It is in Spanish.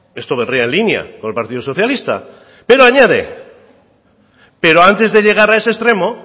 esto vendría en línea con el partido socialista pero antes de llegar a ese extremo